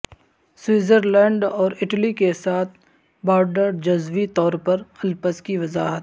Switzerland اور Italy کے ساتھ بارڈر جزوی طور الپس کی وضاحت